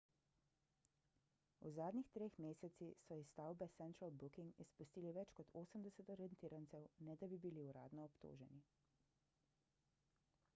v zadnjih treh mesecih so iz stavbe central booking izpustili več kot 80 aretirancev ne da bi bili uradno obtoženi